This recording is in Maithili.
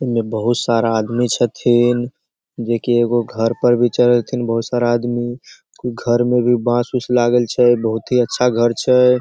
इ में बहुत सारा आदमी छथिन जेई कि एगो घर पे भी बहुत सारा आदमी घर में भी बांस-उंस लागल छै बहुत ही अच्छा घर छै।